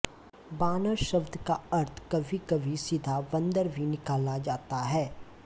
वानर शब्द का अर्थ कभीकभी सीधा बन्दर भी निकाला जाता है